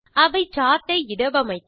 அவை சார்ட் ஐ இடவமைக்க